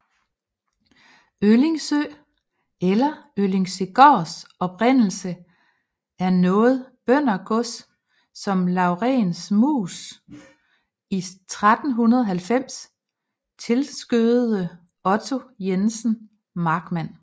Øllingsøe eller Øllingsøegaards oprindelse er noget bøndergods som Laurens Muus i 1390 tilskødede Otto Jensen Markmand